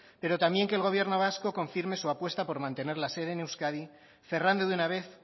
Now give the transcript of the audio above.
pero también que el gobierno vasco confirme su apuesta por mantener la sede en euskadi cerrando de una vez